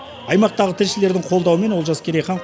аймақтағы тілшілердің қолдауымен олжас керейхан